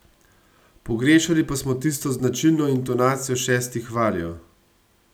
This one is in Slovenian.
Pogrešali pa smo tisto značilno intonacijo šestih valjev.